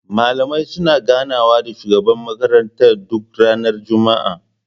Malamai suna gana wa da shugaban makaranta duk ranar juma'a